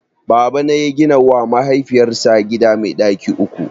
Babana ya gina wa mahaifiyar sa gida mai ɗaki uku